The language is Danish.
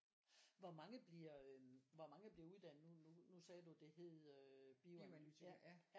Hvor mange bliver øhm hvor mange bliver uddannet nu nu nu sagde du det hed øhm bioanalytiker?